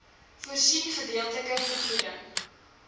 voorsien gedeeltelike vergoeding